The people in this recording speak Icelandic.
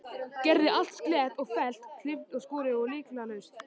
Gerði allt slétt og fellt, klippt og skorið og lyktarlaust.